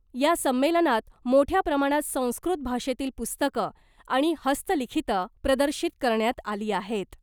या संमेलनात मोठ्या प्रमाणात संस्कृत भाषेतील पुस्तकं आणि हस्तलिखितं प्रदर्शित करण्यात आली आहेत .